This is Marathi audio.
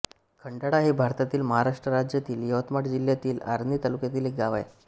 खंडाळा हे भारतातील महाराष्ट्र राज्यातील यवतमाळ जिल्ह्यातील आर्णी तालुक्यातील एक गाव आहे